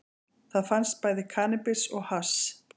Þar fannst bæði kannabis og hass